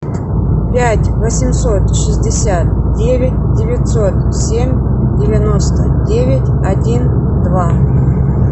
пять восемьсот шестьдесят девять девятьсот семь девяносто девять один два